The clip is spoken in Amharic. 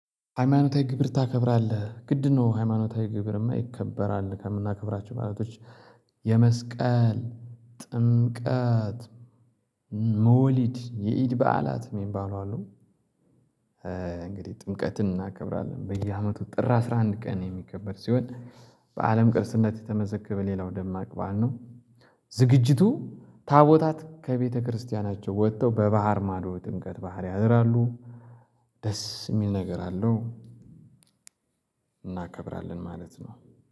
ሃይማኖታዊ ግብር ታከብራለህ ግድ ነው ሃይማኖታዊ ግብርማ ይከበራል ከምናከብራቸው ማለቶች የመስቀል፤ ጥምቀት፤ መውሊድ እና የኢድ በዓላት የሚባሉ አሉ። እንግዲህ ጥምቀትን እናከብራለን በየአመቱ ጥር አስራ አንድ ቀን የሚከበር ሲሆን በአለም ቅርስና የተመዘገበ ሌላው ደማቅ ባዓል ነው ዝግጅቱ ታቦታት ከቤተክርስቲያናቸው ወጥተው በባህር ማዶ ጥምቀት ባህር ያደራሉ ደስ የሚል ነገር አለው እናከብራለን ማለት ነው